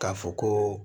K'a fɔ ko